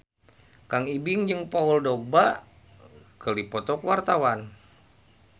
Kang Ibing jeung Paul Dogba keur dipoto ku wartawan